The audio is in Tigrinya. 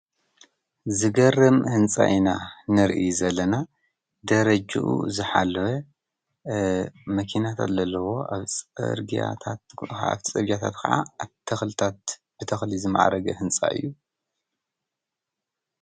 ዝገርም ህንፃ ኢና ንሪኢ ዘለና ደረጅኡ ዝሓለወ መኪና ዘለዎ ፅርግያታት ከዓ ብተክሊ ዝመዓረገ ህንፃ እዩ።